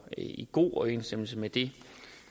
i god overensstemmelse med det